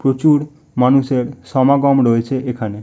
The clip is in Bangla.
প্রচুর মানুষের সমাগম রয়েছে এখানে।